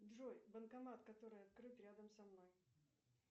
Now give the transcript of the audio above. джой банкомат который открыт рядом со мной